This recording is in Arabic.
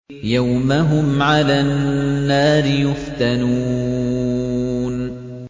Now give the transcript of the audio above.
يَوْمَ هُمْ عَلَى النَّارِ يُفْتَنُونَ